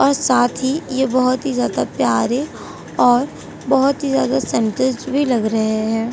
और साथ ही ये बहुत ज्यादा प्यारे और बहुत ही ज्यादा लग रहे हैं।